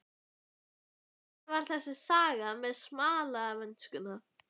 Já, hvernig var þessi saga með smalamennskuna?